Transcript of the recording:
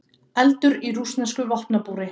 Eldur í rússnesku vopnabúri